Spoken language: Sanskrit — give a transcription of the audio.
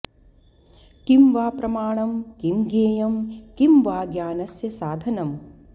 किं वा प्रमाणं किं ज्ञेयं किं वा ज्ञानस्य साधनं